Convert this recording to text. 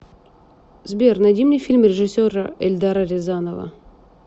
сбер найди мне фильм режисера эльдара рязанова